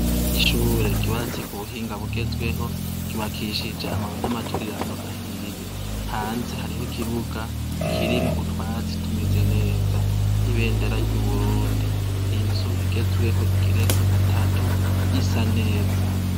Ishure ryubatse ku buhinga bugezweho ryubakishije amabuye n'amaturirano ahiye hanze hariho ikibuga kirimwo utwatsi tumeze neza ibendera ry'uburundi inzu igezweho igiretse gatatu isa neza.